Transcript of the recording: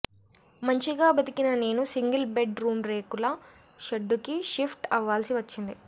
మంచిగా బతికిన నేను సింగిల్ బెడ్ రూం రేకుల షెడ్డుకి షిఫ్ట్ అవ్వాల్సి వచ్చింది